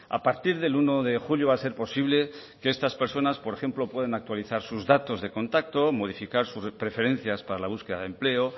a partir del uno de julio va a ser posible que estas personas por ejemplo puedan actualizar sus datos de contacto modificar sus preferencias para la búsqueda de empleo